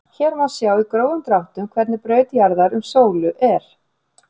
Hér má sjá í grófum dráttum hvernig braut jarðar um sólu er.